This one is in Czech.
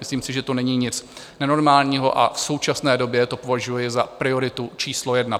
Myslím si, že to není nic nenormálního, a v současné době to považuju za prioritu číslo jedna.